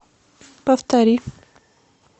повтори